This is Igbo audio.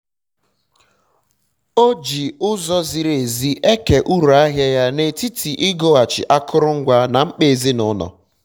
um ọ ji ụzọ ziri ezi eke uru ahịa ya n'etiti igoghachi akụrụngwa na mkpa ezinụlọ ya